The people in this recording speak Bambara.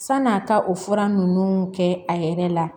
San'a ka o fura ninnu kɛ a yɛrɛ la